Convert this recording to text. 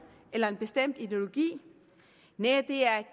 eller en bestemt ideologi næh det er